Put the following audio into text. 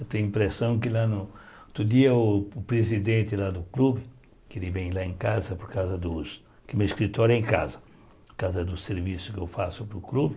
Eu tenho a impressão que lá no... Outro dia o presidente lá do clube, que ele vem lá em casa por causa dos... Porque o meu escritório é em casa, por causa dos serviços que eu faço para o clube.